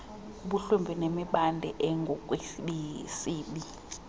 kubuhlwempu nemibandela engokwesini